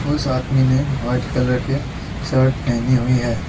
उस आदमी ने व्हाइट कलर के शर्ट पहनी हुई है।